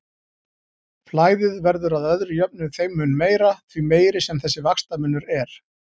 Flæðið verður að öðru jöfnu þeim mun meira, því meiri sem þessi vaxtamunur er.